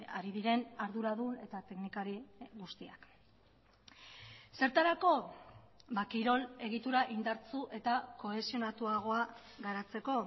ari diren arduradun eta teknikari guztiak zertarako kirol egitura indartsu eta kohesionatuagoa garatzeko